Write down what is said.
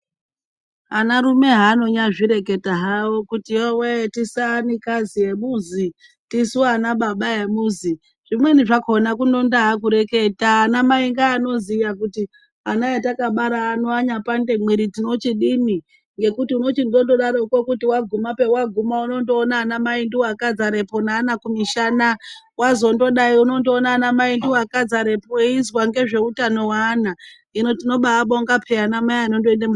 Anarume haanonyazvireka hawo ,kuti yowe tisu anikazi emuzi, tisu anababa emuzi zvimweni zvakona kuno ndaakureketa anamai ngaanoziya kuti ana atakbara ano anyapande mwiri tinochidini ngekuti unochondozodaroko kuti waguma pawaguma undoona anamai ndiwo akazare po neana kumishana wazondodai unondoona anamai ndiwo akazarepo eizwa ngezveutano weana, hino tinoba abonga peya anamai akadaro.